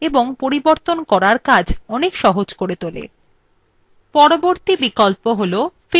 পরবর্তী বিকল্প হল fit to width এটি স্ক্রিনএর প্রস্থ অনুযাই পৃষ্ঠাthe দেখায়